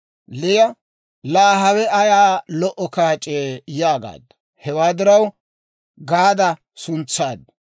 Liya, «Laa hawe ayaa lo"o kaac'ee!» yaagaaddu. Hewaa diraw Gaada suntsaaddu.